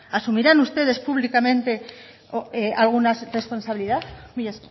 asumirán ustedes públicamente alguna responsabilidad mila